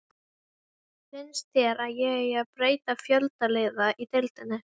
Finnst þér að eigi að breyta fjölda liða í deildinni?